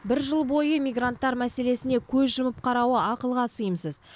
бір жыл бойы мигранттар мәселесіне көз жұмып қарауы ақылға сыйымсыз